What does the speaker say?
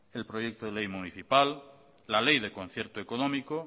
el proyecto de ley municipal la ley de concierto económico